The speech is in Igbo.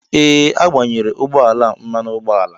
Ee agbayere ụgbọ ala a mmanụ ụgbọala.